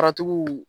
Faratigiw